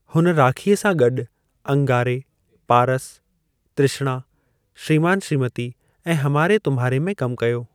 हुन राखीअ सां गॾु अंगारे, पारस, तृष्णा, श्रीमान श्रीमती ऐं हमारे तुम्हारे में कमु कयो।